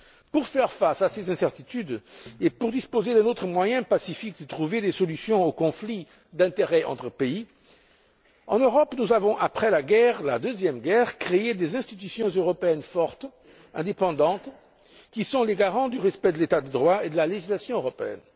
Pour faire face à ces incertitudes et pour disposer d'un autre moyen pacifique de trouver des solutions aux conflits d'intérêts entre pays, en Europe, nous avons, après la Deuxième Guerre, créé des institutions européennes fortes, indépendantes, qui sont les garantes du respect de l'état de droit et de la législation européenne.